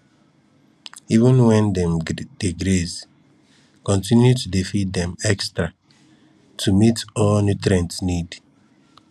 even when dem dey graze continue to dey feed dem extra to meet all nutrient need